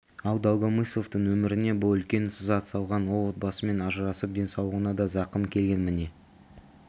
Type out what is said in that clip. ал долгомысловтың өміріне бұл үлкен сызат салған ол отбасымен ажырасып денсаулығына да зақым келген міне